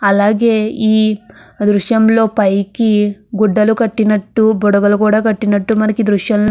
అలాగే ఈ దృశ్యం లో పైకి గుడ్డలు కట్టినట్టు బుడగలు కూడా కట్టినట్టు మనకి దృశ్యం లో --